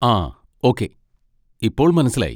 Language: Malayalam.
ആ ഓക്കേ, ഇപ്പോൾ മനസ്സിലായി.